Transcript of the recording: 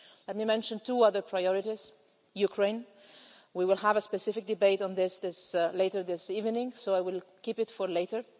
Let me mention two other priorities Ukraine we will have a specific debate on this later this evening so I will keep it for later.